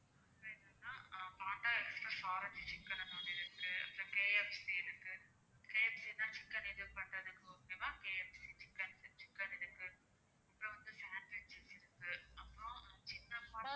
அப்பறம் என்னன்னா சிக்கன்னு ஒண்ணு இருக்கு அப்பறம் KFC இருக்கு KFC னா சிக்கன் இது பண்றதுக்கு okay வா KFC சிக்கன் சிக்கன் இருக்கு அப்பறம் வந்து sandwiches இருக்கு அப்பறம் ஆஹ் சின்ன